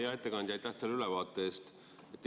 Hea ettekandja, aitäh selle ülevaate eest!